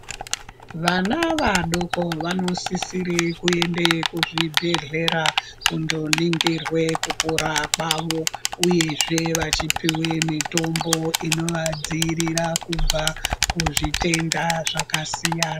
Vana vadoko vanosisire kuende kuzvibhedhlera kundoringirwe kukura kwavo, uyezve vachipiwe mitombo inovadzivirira kubva kuzvitenda zvakasiyana.